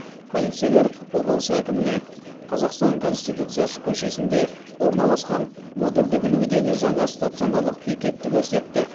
полицейлер облыс әкіміне қазақстан конституциясы көшесінде орналасқан модульдік үлгідегі жаңа стационарлық бекетті көрсетті